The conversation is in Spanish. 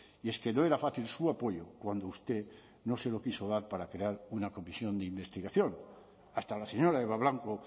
y es que no era fácil su apoyo cuando usted no se lo quiso dar para crear una comisión de investigación hasta la señora eba blanco